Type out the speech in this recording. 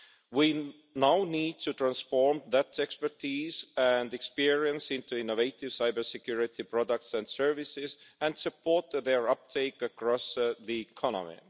We now need to transform that expertise and experience into innovative cybersecurity products and services, and support their uptake across the economy.